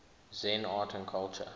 zen art and culture